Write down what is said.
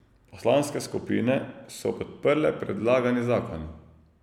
Poslanske skupine so podprle predlagani zakon.